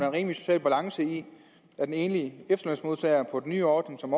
en rimelig social balance i at den enlige efterlønsmodtager på den nye ordning som